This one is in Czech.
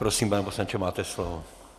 Prosím, pane poslanče, máte slovo.